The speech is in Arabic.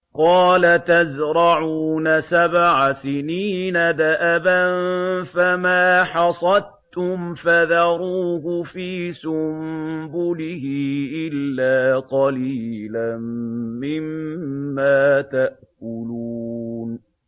قَالَ تَزْرَعُونَ سَبْعَ سِنِينَ دَأَبًا فَمَا حَصَدتُّمْ فَذَرُوهُ فِي سُنبُلِهِ إِلَّا قَلِيلًا مِّمَّا تَأْكُلُونَ